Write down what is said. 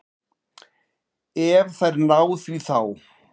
Ef þær ná því þá.